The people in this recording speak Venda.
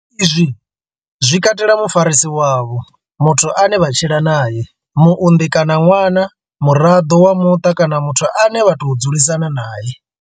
Izwi zwi katela mufarisi wavho, muthu ane vha tshila nae, muunḓi kana ṅwana, muraḓo wa muṱa kana muthu ane vha tou dzulisana nae.